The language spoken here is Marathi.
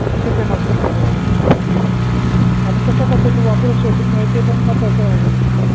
असत मॅम बरोब हां मग कशा पद्धतीने वापरायच सोशल मेडिया ते पण महत्वाच आहे